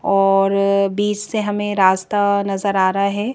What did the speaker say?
और बीच से हमें रास्ता नजर आ रहा है।